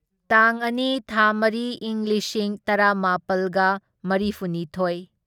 ꯇꯥꯡ ꯑꯅꯤ ꯊꯥ ꯃꯔꯤ ꯢꯪ ꯂꯤꯁꯤꯡ ꯇꯔꯥꯃꯥꯄꯜꯒ ꯃꯔꯤꯐꯨꯅꯤꯊꯣꯢ